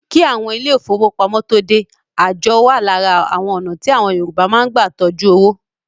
Kí àwọn ilé ìfọwọ́pamo tóo dé, àjọ wa lára àwọn ọ̀nà tí àwọn Yorùbá máa ń gbà tọjú owó.